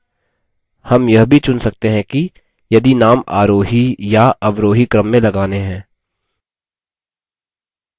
names यह भी चुन सकते हैं की यदि names आरोही या अवरोही क्रम में लगाने हैं